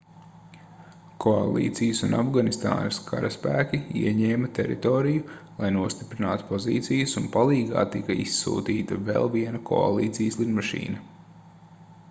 koalīcijas un afganistānas karaspēki ieņēma teritoriju lai nostiprinātu pozīcijas un palīgā tika izsūtīta vēl viena koalīcijas lidmašīna